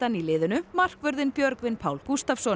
í liðinu markvörðinn Björgvin Pál Gústavsson